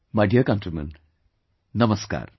My Dear Countrymen, Namaskar